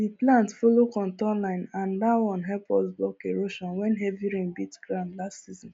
we plant follow contour line and that one help us block erosion when heavy rain beat ground last season